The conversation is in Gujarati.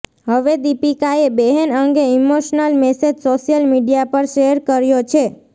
હવે દીપિકાએ બેહન અંગે ઈમોશનલ મેસેજ સોશિયલ મીડિયા પર શૅર કર્યો છે